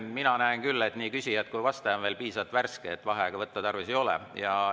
Mina näen küll, et nii küsijad kui ka vastaja on veel piisavalt värsked, vaheaega võtta tarvis ei ole.